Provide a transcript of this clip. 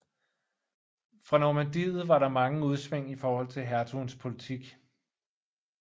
For Normandiet var der mange udsving i forhold til hertugens politik